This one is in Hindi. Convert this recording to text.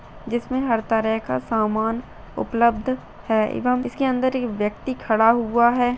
जिसमें हर तरह का सामान उपलब्ध है एवं इसके अंदर एक व्यक्ति खड़ा हुआ है।